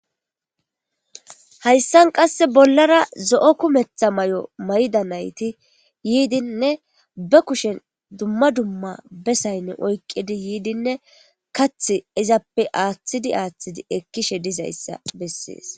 Hayssan qasse bollara zo,o kumetha may,o mayda nayti yiidinne ba kushen dumma dumma besaynne oykqidi yiidinne kath izappe aaththidi aaththidi ekkishe dizayssa bessees.